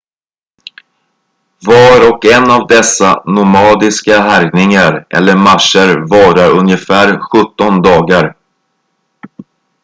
var och en av dessa nomadiska härjningar eller marscher varar ungefär 17 dagar